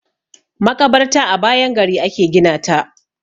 Maƙabarta a bayan gari a ke gina ta.